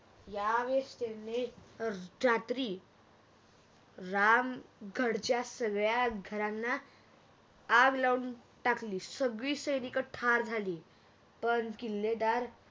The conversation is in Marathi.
या वेळेस त्यांनी रात्री राम गडच्या सगळ्या घरांना आग लाऊन टाकली सगळी सैनिक ठार झाली पण किल्लेदार